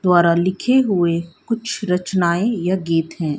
द्वारा लिखे हुए कुछ रचनाएं या गीत हैं।